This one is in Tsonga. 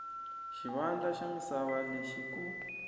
xivandla xa misava lexi ku